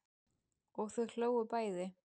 Og þau hlógu bæði.